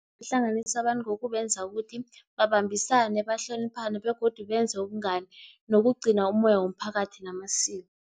Ihlanganisa abantu ngokubenza ukuthi babambisane, bahloniphane, begodu benze ubungani nokugcina umoya womphakathi namasiko.